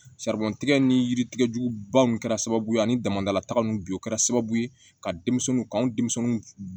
tigɛ ni yiri tigɛjuguba ninnu kɛra sababu ye ani damadalataga ninnu bi o kɛra sababu ye ka denmisɛnninw ka anw denmisɛnninw